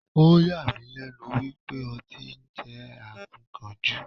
Oh yà mí lẹ́nu wípé ọtí ń jẹ́ Akíkanjú.